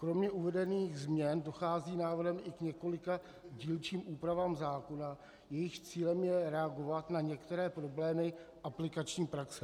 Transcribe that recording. Kromě uvedených změn dochází návrhem i k několika dílčím úpravám zákona, jejichž cílem je reagovat na některé problémy aplikační praxe.